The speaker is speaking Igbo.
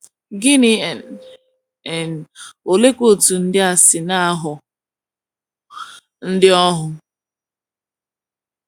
Gini n' n' oleekwa otú ndị a si na - aghọ ndị ohu?